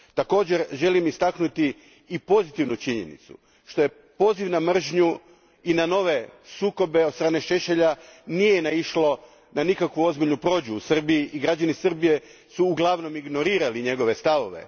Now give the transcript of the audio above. Također želim istaknuti i pozitivnu činjenicu, što poziv na mržnju i na nove sukobe od strane Šešelja nije naišlo na nikakvu ozbiljnu prođu u Srbiji i građani Srbije su uglavnom ignorirali njegove stavove.